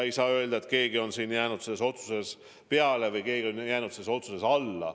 Ei saa öelda, et keegi on jäänud selles otsuses peale või keegi on jäänud selles otsuses alla.